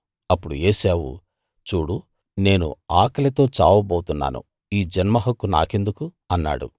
అప్పుడు ఏశావు చూడు నేను ఆకలితో చావబోతున్నాను ఈ జన్మహక్కు నాకెందుకు అన్నాడు